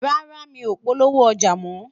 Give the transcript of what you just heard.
rárá, mí ọ polówó ọja mọ